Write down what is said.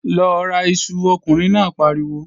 Lọ ra iṣu, ọkùnrin náà pariwo!